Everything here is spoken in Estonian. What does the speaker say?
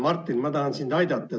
Martin, ma tahan sind aidata.